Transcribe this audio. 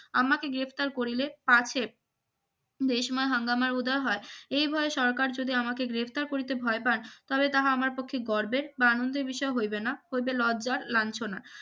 আমাকে গ্রেফতার করিলে আছে দেশময় হাঙ্গামার উদার হয় এই ভয়ে সরকার যদি আমাকে গ্রেপ্তার করিতে ভয় পান তাহলে তাহা আমার পক্ষে গর্বের বা আনন্দের বিষয় হইবে না হইবে লজ্জার লাঞ্ছনার